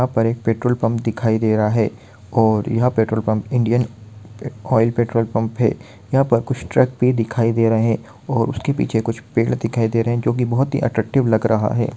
यहां पर एक पेट्रोल पंप दिखाई दे रहा है और यह petrol pump Indian oil petrol pump है यहां पर कुछ ट्रक भी दिखाइ दे रहे हैं और उसके पीछे कुछ पेड़ दिखाई दे रहे हैं जो कि बहुत ही अट्रैक्टिव लग रहा है।